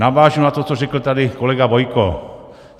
Navážu na to, co řekl tady kolegy Bojko.